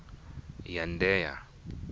yandheya